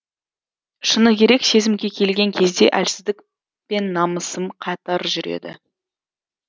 шыны керек сезімге келген кезде әлсіздік пен намысым қатар жүреді